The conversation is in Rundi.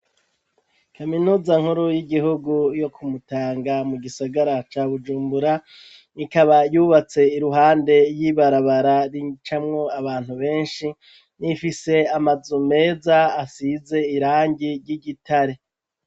Kaminuza nkuru y’igihugu yo kumutanga mugisagara ca bujumbura, ikaba yubatse iruhande yibarabara ricamwo abantu benshi rifise amazu meza asize irangi ry’igitare.